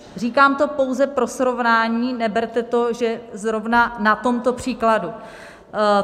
Říkám to pouze pro srovnání, neberte to, že zrovna na tomto příkladu.